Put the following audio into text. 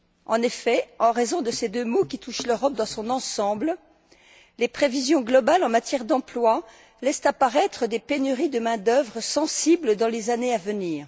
En effet, en raison de ces deux maux qui touchent l'Europe dans son ensemble, les prévisions globales en matière d'emploi laissent apparaître des pénuries de main d'œuvre sensibles dans les années à venir.